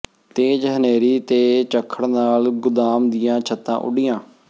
ਤੇਜ਼ ਹਨੇਰੀ ਤੇ ਝੱਖੜ ਨਾਲ ਗੁਦਾਮ ਦੀਆਂ ਛੱਤਾਂ ਉੱਡੀਆਂ